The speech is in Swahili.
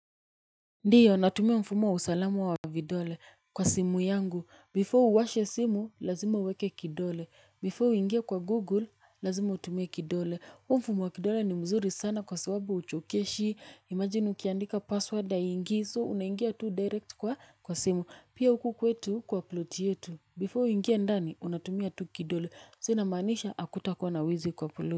Ndiyo, natumia mfumo wa usalama wa vidole kwa simu yangu. Before uwashe simu, lazima uweke kidole. Before uingie kwa Google, lazima utumie kidole. Huu mfumo wa kidole ni mzuri sana kwa sababu huchokeshi. Imagine ukiandika password haingii so unaingia tu direct kwa kwa simu. Pia huku kwetu kwa ploti yetu. Before uingie ndani, unatumia tu kidole. Sa inamaanisha hakutakuwa na wizi kwa ploti.